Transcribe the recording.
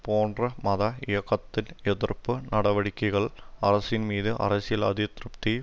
போன்ற மத இயக்கத்தின் எதிர்ப்பு நடவடிக்க்கள் அரசின் மீது அரசியல் அதிருப்தியை